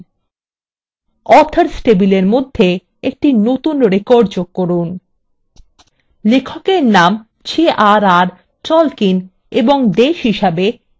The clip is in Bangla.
3 authors table মধ্যে একটি নতুন record যোগ করুন লেখকের name jrr tolkien এবং দেশ হিসাবে england লিখুন